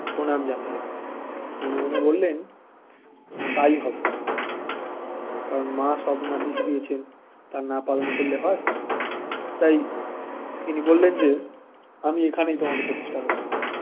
প্রণাম জানালেন মনে মনে বললেন তাই হবে মা কারণ মা সপ্নাদেশ দিয়েছেন তা না পালন করলে হয় তাই তিনি বললেন যে আমি এখানেই তোমাকে প্রতিষ্ঠা করব